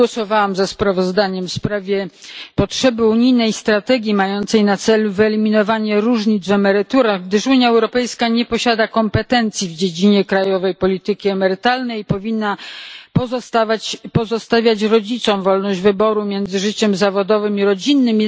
Nie głosowałam za sprawozdaniem w sprawie potrzeby unijnej strategii mającej na celu wyeliminowanie różnic w emeryturach, gdyż Unia Europejska nie posiada kompetencji w dziedzinie krajowej polityki emerytalnej i powinna pozostawiać rodzicom wolność wyboru między życiem zawodowym a rodzinnym.